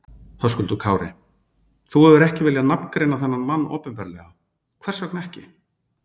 Höskuldur Kári: Þú hefur ekki viljað nafngreina þennan mann opinberlega, hvers vegna ekki?